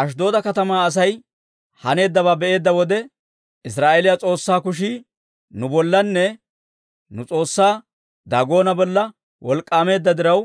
Ashddooda katamaa Asay haneeddabaa be'eedda wode, «Israa'eeliyaa S'oossaa kushii nu bollanne nu s'oossaa Daagoona bolla wolk'k'aameedda diraw,